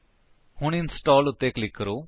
ਹੁਣ ਇੰਸਟਾਲ ਉੱਤੇ ਕਲਿਕ ਕਰੋ